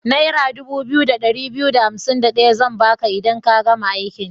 Naira 2251 zan ba ka idan ka gama aikin.